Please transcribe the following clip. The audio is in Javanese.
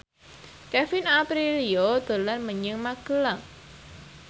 Kevin Aprilio dolan menyang Magelang